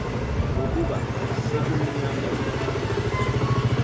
nokuba sekumnyam entla